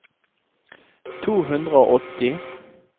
to hundre og åtti